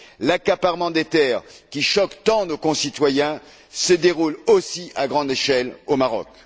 L'accaparement des terres, qui choque tant nos concitoyens, se déroule aussi à grande échelle au Maroc.